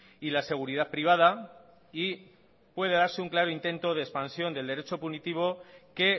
y la seguridad privada y puede darse un claro intento de expansión del derecho punitivo que